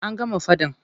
An gama faɗan.